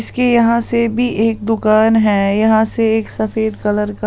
इसके यहां से भी एक दुकान है यहां से एक सफेद कलर का--